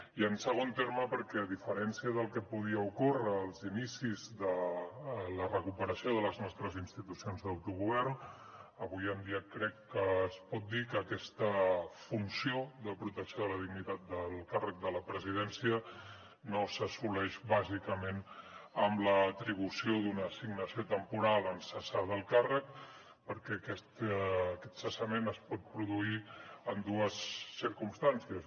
i en segon terme perquè a diferència del que podia ocórrer als inicis de la recuperació de les nostres institucions d’autogovern avui en dia crec que es pot dir que aquesta funció de protecció de la dignitat del càrrec de la presidència no s’assoleix bàsicament amb l’atribució d’una assignació temporal en cessar del càrrec perquè aquest cessament es pot produir en dues circumstàncies